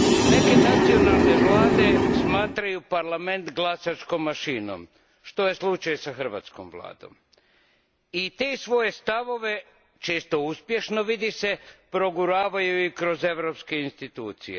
Neke nacionalne vlade smatraju Parlament glasačkom mašinom, što je slučaj i s hrvatskom Vladom, i te svoje stavove, često uspješno, vidi se, proguravaju i kroz europske institucije.